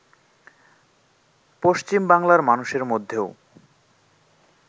পশ্চিম বাংলার মানুষের মধ্যেও